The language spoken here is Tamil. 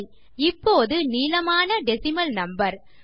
சரி இப்போது நீளமான டெசிமல் நம்பர்